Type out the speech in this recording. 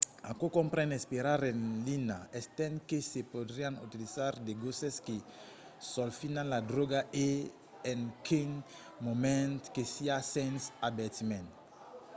aquò compren esperar en linha estent que se podrián utilizar de gosses que solfinan la dròga o en quin moment que siá sens avertiment